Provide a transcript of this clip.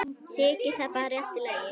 Þykir það bara í lagi.